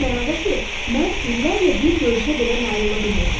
O mənada ki, mən illərlə bir görüşə belə nail ola bilmirdim.